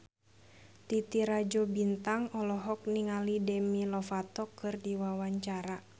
Titi Rajo Bintang olohok ningali Demi Lovato keur diwawancara